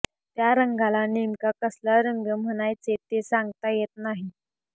त्या रंगाला नेमका कसला रंग म्हणायचं ते सांगता येत नाही